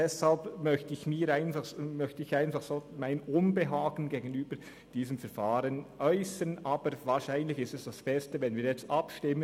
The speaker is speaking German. Deshalb möchte ich mein Unbehagen gegenüber diesem Verfahren äussern, aber wahrscheinlich ist es das Beste, wenn wir jetzt abstimmen.